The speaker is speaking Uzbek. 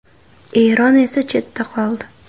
Eron esa chetda qoldi.